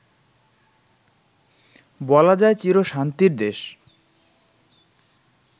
বলা যায় চিরশান্তির দেশ